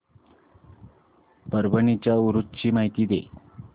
परभणी च्या उरूस ची माहिती दे